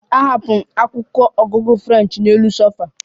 Ahapụrụ m akwụkwọ ọgụgụ French n'elu sofa